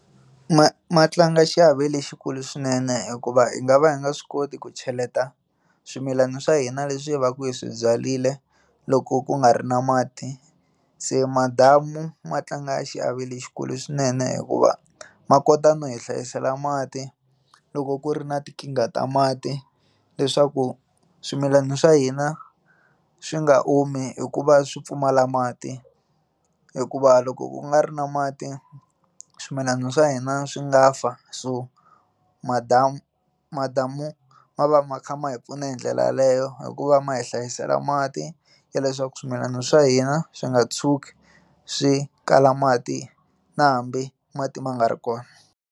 Ma ma tlanga xiave lexikulu swinene hikuva hi nga va hi nga swi koti ku cheleta swimilana swa hina leswi hi va ku hi swi byarile loko ku nga ri na mati se madamu ma tlanga xiave lexikulu swinene hikuva ma kota no hi hlayisela mati loko ku ri na tinkingha ta mati leswaku swimilana swa hina swi nga omi hikuva swi pfumala mati hikuva loko ku nga ri na mati swimilana swa hina swi nga fa so madamu madamu ma va ma kha ma hi pfuna hi ndlela yeleyo hikuva ma hi hlayisela mati ya leswaku swimilana swa hina swi nga tshuki swi kala mati na hambi mati ma nga ri kona.